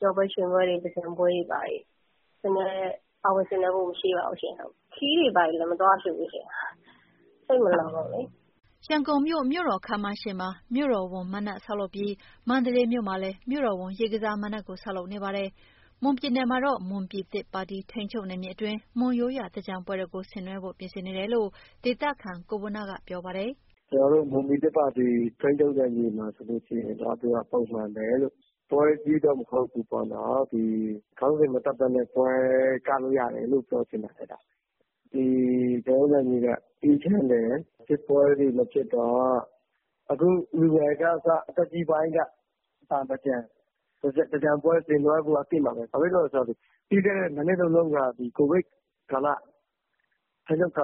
ပျော်ပွဲရွှင်ပွဲတွေ၊ သင်္ကြန်ပွဲတွေ ပါဝင်ဆင်နွှဲဖို့ မရှိပါဘူးရှင့်။ ခရီးတွေ ဘာတွေလည်း မသွားဖြစ်ဘူးရှင့်၊ စိတ်မလုံလို့လေ။" ရန်ကုန်မြို့ မြို့တော်ခန်းမရှေ့မှာ မြို့တော်ဝန်မဏ္ဍပ် ဆောက်လုပ်နေပြီး မန္တလေးမြို့မှာလည်း မြို့တော်ဝန် ရေကစားမဏ္ဍပ်ကို ဆောက်လုပ်နေပါတယ်။ မွန်ပြည်နယ်မှာတော့ မွန်ပြည်သစ်ပါတီ ထိန်းချုပ်နယ်မြေအတွင်း မွန်ရိုးရာသင်္ကြန်ပွဲတော်ကို ဆင်နွှဲဖို့ ပြင်ဆင်နေတယ်လို့ ဒေသခံ ကိုဝဏ္ဏက ပြောပါတယ်။ "ကျနော်တို့ မွန်ပြည်သစ်ပါတီ ထိန်းချုပ်နယ်မြေမှာ ဆိုရင်တော့ သူကပုံမှန်ပဲ။ ပွဲအကြီးကြီးတော့ မဟုတ်ဘူးပေါ့နော်။ ခေါင်းစဉ် မတပ်ဘဲနဲ့ ပွဲကလို့ ရတယ်ပေါ့။ ကျနော်တို့နယ်မြေက အေးချမ်းတယ်။ စစ်ပွဲတွေမဖြစ်တော့ အခု လူငယ်ကအစ အသက်ကြီးပိုင်းတွေရော သင်္ကြန်ပွဲဆင်နွှဲဖို့ အသင့်ပါပဲ။ ဘာဖြစ်လို့လဲဆိုတော့ ပြီးခဲ့တဲ့ ၂ နှစ်၊ ၃ နှစ်တုန်းက ကိုဗစ်ကာလဖြစ်တဲ့အတွ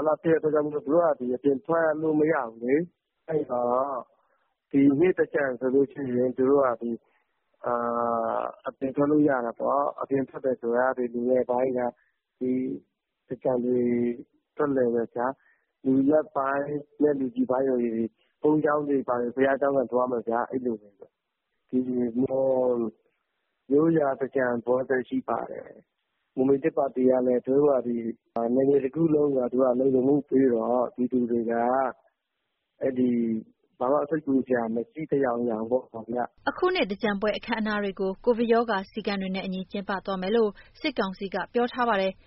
က်ကြောင့် သူတို့ဟာသူတို့ အပြင်ထွက်လို့ မရဘူးလေ။ အဲတော့ ဒီနှစ်သင်္ကြန်ဆိုရင် လူငယ်ပိုင်းက သင်္ကြန်ထွက်လည်တယ်။ လူလတ်ပိုင်းနဲ့ လူကြီးပိုင်းဆိုရင် ဘုန်းကြီးကျောင်းတွေ၊ ဘုရားကျောင်းကန်တွေ သွားမယ်ဗျာ၊ အဲလိုပေါ့။ မွန်ရိုးရာသင်္ကြန်ပွဲလည်း ရှိပါတယ်။ မွန်ပြည်သစ်ပါတီကလည်း နယ်မြေတခုလုံးမှာ သူတို့ကလုံခြုံမှုပေးတော့ ပြည်သူတွေက ဘာမှစိတ်ပူစရာ မရှိသလောက်ပါဗျ။" အခုနှစ် သင်္ကြန်ပွဲ အခမ်းအနားတွေကို ကိုဗစ်ကပ်ရောဂါ စည်းကမ်းတွေနဲ့အညီ ကျင်းပသွားမယ်လို့ စစ်ကောင်စီက ပြောထားပါတယ်။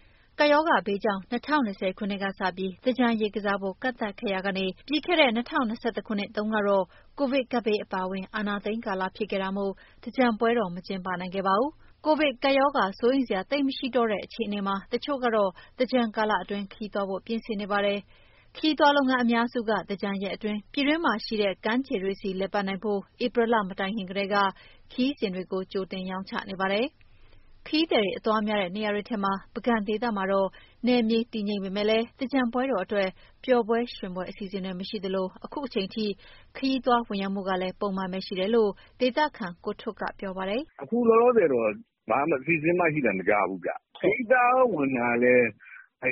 ရောဂါကပ်ဘေးကြောင့် ၂၀၂၀ ခုနှစ်ကစပြီး သင်္ကြန်ရေကစားဖို့ ကန့်သတ်ခဲ့ရာကနေ ပြီးခဲ့တဲ့ ၂၀၂၁ ခုနှစ်တုန်းကတော့ ကိုဗစ်ကပ်ဘေးအပါအဝင် အာဏာသိမ်းကာလဖြစ်ခဲ့လို့ သင်္ကြန်ပွဲတော် မကျင်းပနိုင်ခဲ့ပါဘူး။ ကိုဗစ်ကပ်ရောဂါ စိုးရိမ်စရာ သိပ် မရှိတော့တဲ့ အခြေအနေမှာ တချို့ကတော့ သင်္ကြန်ကာလအတွင်း ခရီးသွားဖို့ ပြင်ဆင်နေကြပါတယ်။ ခရီးသွားလုပ်ငန်း အများစုက သင်္ကြန်ရက်အတွင်း ပြည်တွင်းမှာရှိတဲ့ ကမ်းခြေတွေဆီ လည်ပတ်နိုင်ဖို့ ဧပြီလမတိုင်ခင်ကတည်းက ခရီးစဉ်တွေကို ကြိုတင်ရောင်းချနေပါတယ်။ ခရီးသည်တွေ အသွားများတဲ့ နေရာတွေထဲက ပုဂံဒေသမှာတော့ နယ်မြေတည်ငြိမ်ပေမယ့်လည်း သင်္ကြန်ပွဲတော်အတွက် ပျော်ပွဲရွှင်ပွဲအစီအစဉ်တွေ မရှိသလို အခုချိန်အထိ ခရီးသွားဝင်ရောက်မှုကလည်း ပုံမှန်ပဲရှိတယ်လို့ ဒေသခံ ကိုထွဋ်ကပြောပါတယ်။ "အခုလောလောဆယ်တော့ ဘာအစီအစဉ်မှ ရှိသံမကြားဘူးဗျ။ ခရီးသွားဝင်တာလည်း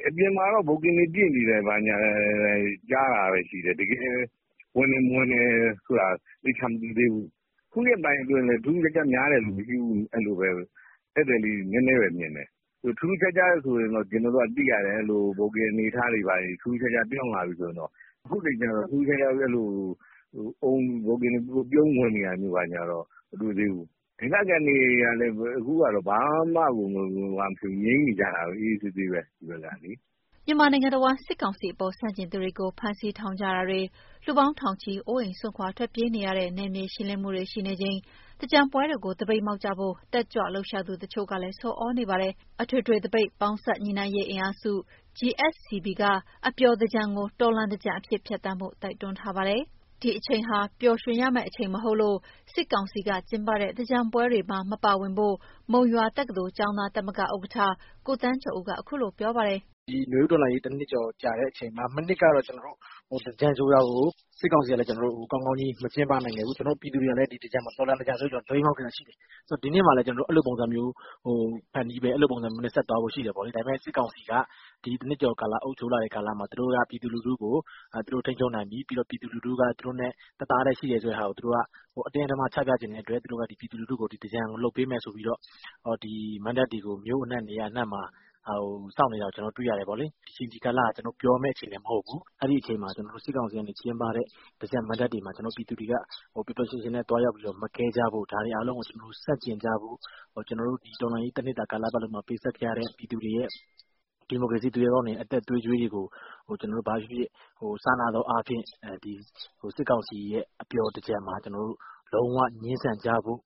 အပြင်မှာတော့ ဘိုကင်တွေဘာညာ ပြည့်နေတယ်ကြားတာပဲ ရှိတယ်။ ဝင်တယ်၊ မဝင်တယ်ဆိုတာ သေချာမသိသေးဘူး။ ခုရက်ပိုင်းအတွင်းလည်း ထူးထူးခြားခြားများတယ် မရှိဘူး။ အဲလိုပဲ ဧည့်သည်လေးတွေ နည်းနည်းပဲမြင်တယ်။ ထူးထူးခြားခြားဆိုရင်တော့ ကျနော်တို့က သိရတယ်။ ဘိုကင်အနေအထားတွေ ထူးထူးခြားခြားပြောင်းလာပြီ ဆိုရင်တော့...။ အခုချိန်ကတော့ ပြုံပြီး ဘိုကင်တွေဝင်နေတာတော့ မတွေ့သေးဘူး။ ဒေသခံတွေကလည်းပဲ အခုကတော့ ဘာမှကိုမဖြစ်ဘူး၊ ငြိမ်နေကြတာပဲ။ အေးအေးဆေးဆေးပဲ ဒီဘက်ကလေ။" မြန်မာနိုင်ငံတဝန်း စစ်ကောင်စီအပေါ် ဆန့်ကျင်သူတွေကို ဖမ်းဆီးထောင်ချမှုတွေ၊ လူပေါင်း ထောင်ချီ အိုးအိမ်စွန့် ထွက်ပြေးနေကြရတဲ့ နယ်မြေရှင်းလင်းမှုတွေရှိနေချိန် သင်္ကြန်ပွဲတော်ကို သပိတ်မှောက်ကြဖို့ တက်ကြွလှုပ်ရှားသူ တချို့ကလည်း ဆော်သြနေကြပါတယ်။ အထွေထွေသပိတ် ပေါင်းစပ်ညှိနှိုင်းရေး အင်အားစု GSCB က အပျော်သင်္ကြန်ကို တော်လှန်သင်္ကြန်အဖြစ် ဖြတ်သန်းဖို့ တိုက်တွန်းထားပါတယ်။ ဒီအချိန်ဟာ ပျော်ရမယ့်အချိန်မဟုတ်လို့ စစ်ကောင်စီက ကျင်းပတဲ့သင်္ကြန်ပွဲတွေမှာ မပါဝင်ဖို့ကို မုံရွာတက္ကသိုလ် ကျောင်းသားသမဂ္ဂ ဥက္ကဋ္ဌ ကိုသန်းကျော်ဦးက ခုလိုပြောပါတယ်။ "ဒီနွေဦးတော်လှန်ရေး ၁ နှစ်ကျော်ကြာတဲ့အချိန်မှာ မနှစ်ကတော့ သင်္ကြန်ဆိုတာကို စစ်ကောင်စီကလည်း ကောင်းကောင်းကြီး မကျင်းပနိုင်ခဲ့ဘူး။ ကျနော်တို့ ပြည်သူတွေကလည်း တော်လှန်သင်္ကြန်ဆိုပြီး သပိတ်မှောက်ခဲ့တာရှိတယ်။ ဆိုတော့ ဒီနှစ်မှာလည်း ကျနော်တို့ အဲလိုပုံစံမျိုး ဖန်တီးမယ်။ အဲလိုပုံစံမျိုးနဲ့ ဆက်သွားဖို့ရှိတယ်ပေါ့လေ။ ဒါပေမယ့် စစ်ကောင်စီက ဒီ ၁ နှစ်ကျော် အုပ်ချုပ်လာတဲ့ကာလမှာ သူတို့က ပြည်သူလူထုကို ထိန်းချုပ်နိုင်ပြီ၊ ပြည်သူလူထုက သူတို့နဲ့ တသားတည်းရှိတယ်ဆိုတာကို အတင်းအဓမ္မ ချပြချင်တဲ့အတွက် ပြည်သူလူထုကို သင်္ကြန်လုပ်ပေးမယ် ဆိုပြီးတော့ မဏ္ဍပ်တွေကို မြို့အနှံ့ နေရာအနှံ့မှာ ဆောက်နေတာကို ကျနော်တို့ တွေ့ရတယ်ပေါ့လေ။ ဒီအချိန် ဒီကာလဟာ ကျနော်တို့ ပျော်ရမယ့်အချိန်ကာလလည်း မဟုတ်ဘူး။ အဲဒီအချိန်မှာ စစ်ကောင်စီက ကျင်းပတဲ့ သင်္ကြန်မဏ္ဍပ်တွေမှာ ပြည်သူတွေက ပျော်ပျော်ရွှင်ရွှင်နဲ့ သွားပြီးမကဲကြဖို့၊ ဒါတွေကို ဆန့်ကျင်ကြဖို့၊ ကျနော်တို့ တော်လှန်ရေး ၁ နှစ်တာကာလလုံးမှာ ပေးဆပ်ခဲ့ရတဲ့ ဒီမိုကရေစီသူရဲကောင်းတွေရဲ့ အသက်သွေးကြွေးတွေကို စာနာသောအားဖြင့် စစ်ကောင်စီရဲ့ အပျော်သင်္ကြန်မှာ လုံးဝငြင်းဆန်ကြဖို့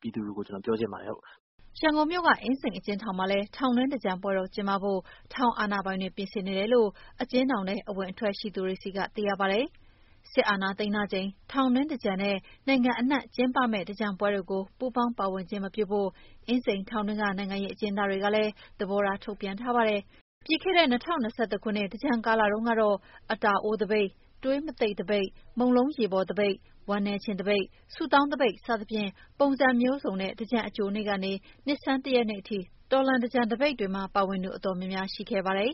ပြည်သူတွေကို ပြောချင်ပါတယ်။" ရန်ကုန်မြို့က အင်းစိန်အကျဉ်းထောင်မှာလည်း ထောင်တွင်းသင်္ကြန်ပွဲတော်ကျင်းပဖို့ ထောင်အာဏာပိုင်တွေ ပြင်ဆင်နေတယ် လို့ အကျဉ်းထောင်ထဲ အဝင်အထွက်ရှိသူတွေဆီက သိရပါတယ်။ စစ်အာဏာသိမ်းထားချိန် ထောင်တွင်းသင်္ကြန်နဲ့ နိုင်ငံအနှံ့မှာ ကျင်းပမယ့် သင်္ကြန်ပွဲတွေကို ပူးပေါင်းပါဝင်ခြင်း မပြုဖို့ အင်းစိန်ထောင်တွင်းက နိုင်ငံရေးအကျဉ်းသားတွေကလည်း သဘောထားထုတ်ပြန်ထားပါတယ်။ ပြီးခဲ့တဲ့ ၂၀၂၁ ခုနှစ် သင်္ကြန်ကာလတုန်းကတော့ အတာအိုးသပိတ်၊ သွေးမတိတ်သပိတ်၊ မုန့်လုံးရေပေါ်သပိတ်၊ ဝမ်းနည်းခြင်းသပိတ်၊ ဆုတောင်းသပိတ် စသဖြင့် ပုံစံမျိုးစုံနဲ့ သင်္ကြန်အကြိုနေ့ကနေ နှစ်ဆန်း တရက်နေ့အထိ တော်လှန်သင်္ကြန်သပိတ်မှာ ပါဝင်သူ တော်တော်များများ ရှိခဲ့ပါတယ်